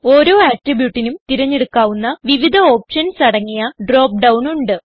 ഓരോ attributeനും തിരഞ്ഞെടുക്കാവുന്ന വിവിധ ഓപ്ഷൻസ് അടങ്ങിയ ഡ്രോപ്പ് ഡൌൺ ഉണ്ട്